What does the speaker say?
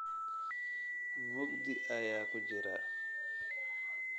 mugdi ayaan ku jiraa